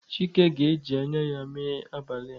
Chike ga-eji anya ya mee abalị a.